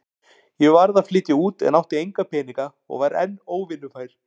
Ég varð að flytja út en átti enga peninga og var enn óvinnufær.